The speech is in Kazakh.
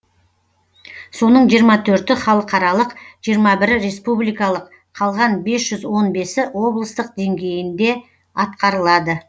соның жиырма төрті халықаралық жиырма бірі республикалық қалған бес жүз он бесі облыстық деңгейінде атқарылады